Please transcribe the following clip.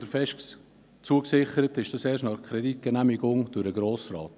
Fest zugesichert ist dies erst nach der Kreditgenehmigung durch den Grossen Rat.